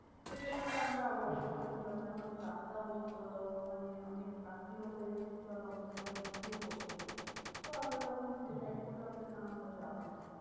তো সেখানটা আমরা avoid করে হম দিলাম কেন অনেক রাতটাও আহ মানে অনেক রাত্রিও হয়ে গেছিলো আর অনেকটা বৃষ্টিও পড়ছিলো। তো আমরা তখন হম decide করলাম যে না আমরা যাবো না।